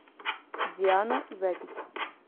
диана запись